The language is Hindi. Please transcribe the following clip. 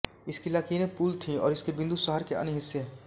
इसकी लकीरें पुल थीं और इसके बिंदु शहर के अन्य हिस्से